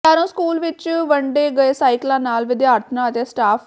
Sheron school ਵਿੱਚ ਵੰਡੇ ਗਏ ਸਾਈਕਲਾਂ ਨਾਲ ਵਿਦਿਆਰਥਣਾਂ ਅਤੇ ਸਟਾਫ਼